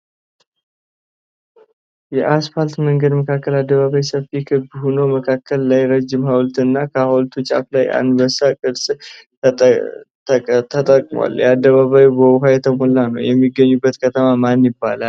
የአስፋት መንገድ መካከል አደባባይ ሰፊ ክብ ሆኖ መካከል ላይ ረዥም ሀዉልት እና ከሀዉልቱ ጫፍ ላይ አንበሳ ቅርፅ ተቀምጧል። የአደባባዩ በዉኃ የተሞላ ነዉ። የሚገኝበት ከተማ ማን ይባላል?